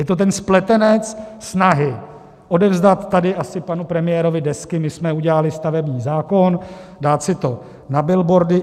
Je to ten spletenec snahy odevzdat tady asi panu premiérovi desky, my jsme udělali stavební zákon, dát si to na billboardy.